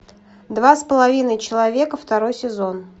два с половиной человека второй сезон